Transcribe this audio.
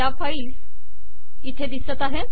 या फाईल इथे दिसत आहे